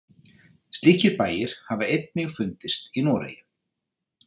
Slíkir bæir hafa einnig fundist í Noregi.